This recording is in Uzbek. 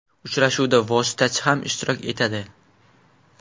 Uchrashuvda vositachi ham ishtirok etadi.